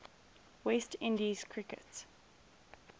west indies cricket